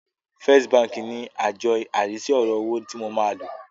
First bank ní àjọ arísí ọ̀rọ̀ owó tí mo máa lò.